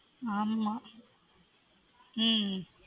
ஆமா உம்